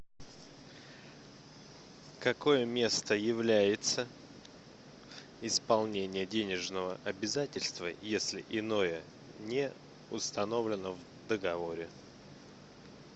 какое место является исполнения денежного обязательства если иное не установлено в договоре